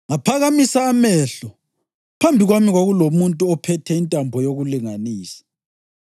Ngaphakamisa amehlo, phambi kwami kwakulomuntu ophethe intambo yokulinganisa!